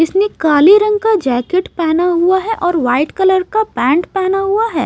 इसने काले रंग का जैकेट पहना हुआ है और वाइट कलर का पँट पहना हुआ है।